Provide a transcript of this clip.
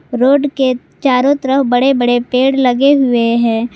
Road के चारों तरफ बड़े बड़े पेड़ लगे हुए हैं।